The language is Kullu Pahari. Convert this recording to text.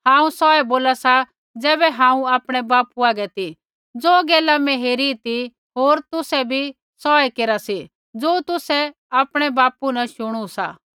हांऊँ सौहै बोला सा ज़ैबै हांऊँ आपणै बापू हागै ती ज़ो गैला मैं हेरी ती होर तुसै भी सौ ऐ केरा सी ज़ो तुसै आपणै बापू न शुणु सा